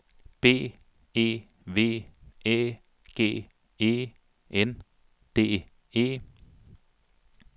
B E V Æ G E N D E